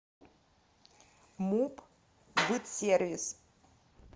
муп бытсервис